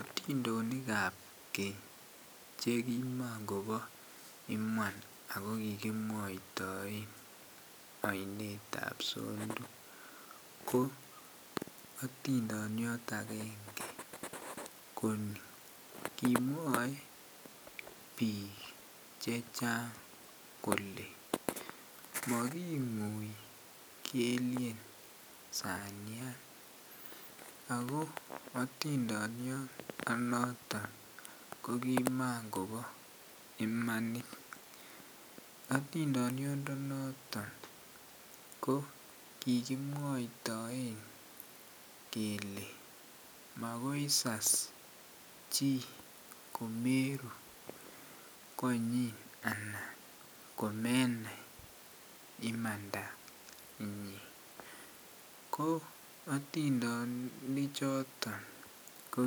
Otindonikab kenye chekimokobo iman akokikimwaitoen ainetab sondu, ko atindoniot agenge koni kimwae biik chechang kole making'oi kelien sanian, akoo otindoniondenoton kokimongobo imanit, otindoniondenoton kokikimwaitoen kele makoi isas chii komeruu konyin anan komenai imandanyin ko otindonyichoton ko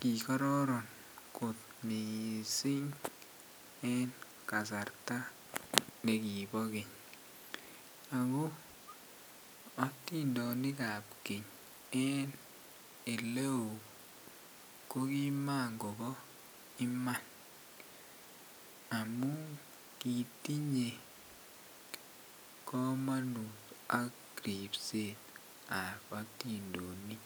kikororon kot miissing en kasarta nekibo keny, akoo etindonikab keny en eleo kokimongobo iman, amun kitinye kamonut ak ripsetab atindonik.